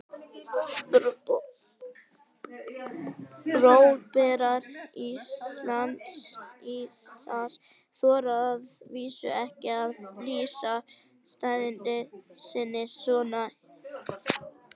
Boðberar íhaldsins þora að vísu ekki að lýsa stefnu sinni svona hispurslaust nú.